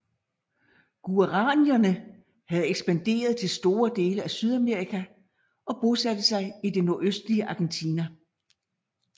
Guaraníerne havde ekspanderet til store dele af Sydamerika og bosatte sig i det nordøstlige Argentina